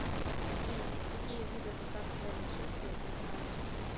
афина какие виды татарское нашествие ты знаешь